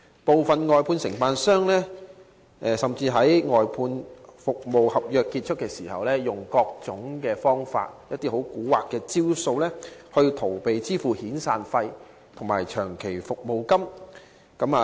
部分外判商甚至於外判服務合約完結時，以各種方法逃避向外判員工支付遣散費及長期服務金的責任。